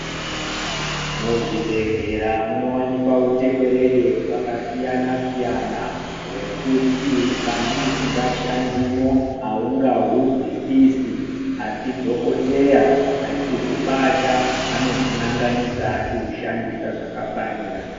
Muzvibhedhlera munowanikwa utekwerede hwakasiyana siyana hwekuti kana usingashandimo aungahuzwisisi asi dhokodheya achihubata anohunanganisa achihushandisa zvakafanira .